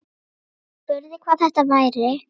Spurði hvað þetta væri.